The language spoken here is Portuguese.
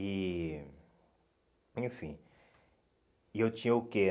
E... Enfim... E eu tinha o quê?